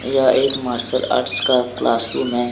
यह एक martial arts का क्लासरूम हैं।